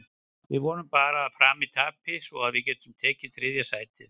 Við vonum bara að Fram tapi svo við getum tekið þriðja sætið.